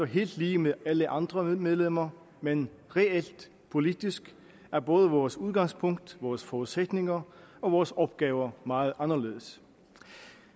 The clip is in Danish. helt lige med alle andre medlemmer men reelt politisk er både vores udgangspunkt vores forudsætninger og vores opgaver meget anderledes